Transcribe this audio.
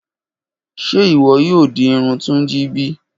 Ṣe iwọ yoo di irun Tunji bi?